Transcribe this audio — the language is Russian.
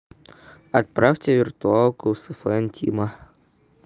отправьте виртуалку сфн тима